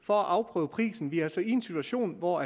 for at afprøve prisen vi er altså i en situation hvor